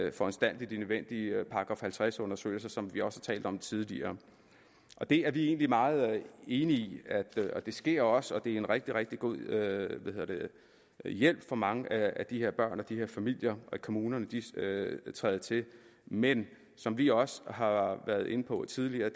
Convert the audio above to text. at foranstalte de nødvendige § halvtreds undersøgelser som vi også har talt om tidligere det er vi egentlig meget enige i i det sker også og det er en rigtig rigtig god hjælp for mange af de her børn og familier at kommunerne træder til men som vi også har været inde på tidligere